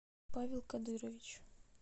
павел кадырович